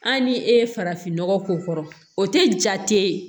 Hali ni e ye farafinnɔgɔ k'o kɔrɔ o tɛ ja tɛ ye